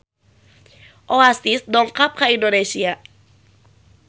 Oasis dongkap ka Indonesia